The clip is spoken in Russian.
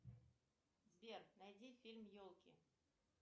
сбер найди фильм елки